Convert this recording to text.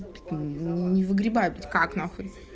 не выгребают как на хуй